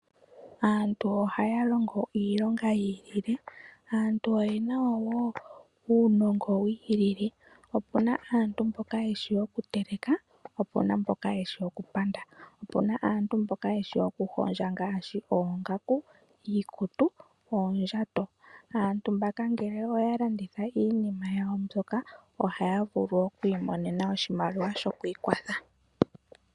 Aantu ohaya longo iilonga yi ilile, aantu oyena wo uunongo wi ilile. Opuna aantu mboka yeshi oku teleka, po opuna mboka yeshi oku panda. Opuna aantu mboka yeshi oku hondja ngaashi oongaku, iikutu, oondjato. Aantu mbaka ngele oya landitha iinima yawo mbyoka ohaya vulu oku imonena oshimaliwa shawo shokwii kwatha.